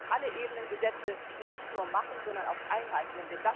Es müssen alle Ebenen Gesetze nicht nur machen, sondern auch einhalten.